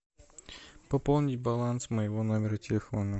пополнить баланс моего номера телефона